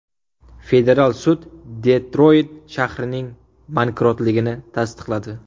Federal sud Detroyt shahrining bankrotligini tasdiqladi.